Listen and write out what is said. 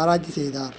ஆராய்ச்சி செய்தார்